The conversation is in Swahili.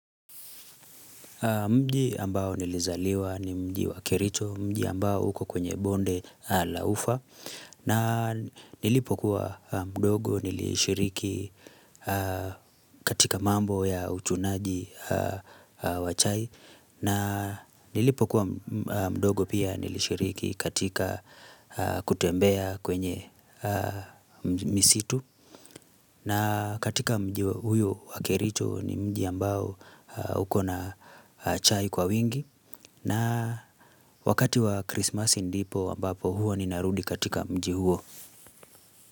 Mji ambao nilizaliwa ni mji wa Kericho, mji ambao uko kwenye bonde la ufa, na nilipokuwa mdogo nilishiriki katika mambo ya uchunaji wa chai, na nilipokuwa mdogo pia nilishiriki katika kutembeya kwenye misitu, na katika mji huyo wa kericho ni mji ambao uko na chai kwa wingi na wakati wa Christmas ndipo ambapo huwa ninarudi katika mji huo.